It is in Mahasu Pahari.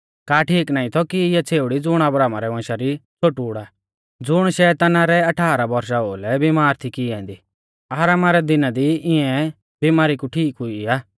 का ठीक नाईं थौ कि इऐ छ़ेउड़ी ज़ुण अब्राहमा रै वंशा री छ़ोटूड़ आ ज़ुण शैताना रै अठाराह बौरशा ओ लै बीमार थी की ऐन्दी आरामा रै दिना दी इऐं बीमारी कू ठीक हुई आ